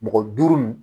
Mɔgɔ duuru nin